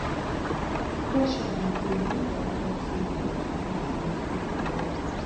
pressure de dey when dem talk sey fool at forty na fool forever